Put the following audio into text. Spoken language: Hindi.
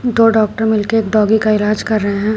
दो डॉक्टर मिल के एक डॉगी का इलाज कर रहे हैं।